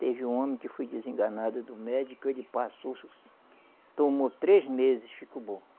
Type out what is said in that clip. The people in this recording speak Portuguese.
Teve um homem que foi desenganado do médico, ele passou tomou três meses, ficou bom.